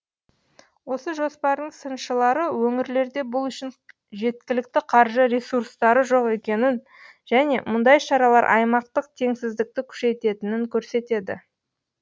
осы жоспардың сыншылары өңірлерде бұл үшін жеткілікті қаржы ресурстары жоқ екенін және мұндай шаралар аймақтық теңсіздікті күшейтетінін көрсетеді